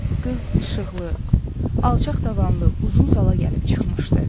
Qız işıqlı, alçaq tavanlı, uzun zala gəlib çıxmışdı.